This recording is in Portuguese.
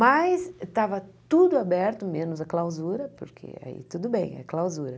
Mas estava tudo aberto, menos a clausura, porque aí tudo bem, é clausura.